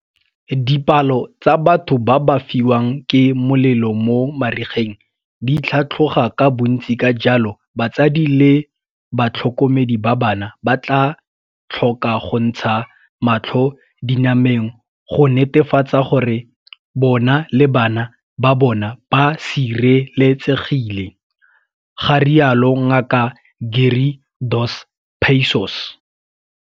Dipalo tsa batho ba ba fisiwang ke molelo mo marigeng di tlhatlhoga ka bontsi ka jalo batsadi le ba tlhokomedi ba bana ba tlhoka go ntsha matlho dinameng go netefatsa gore bona le bana ba bona ba sireletsegile, ga rialo Ngaka Gary Dos Passos.